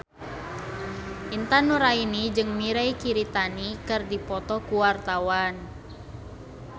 Intan Nuraini jeung Mirei Kiritani keur dipoto ku wartawan